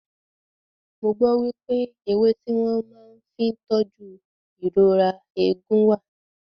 Mo gbọ́ wípé ewé tí wọ́n màá fí ń tóju ìrora eegun wà.